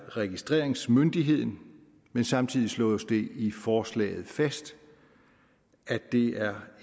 registreringsmyndigheden men samtidig slås det i forslaget fast at det er